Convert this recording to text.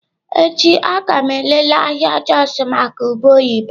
Echi a ga m elele ahịa Jos maka ube oyibo.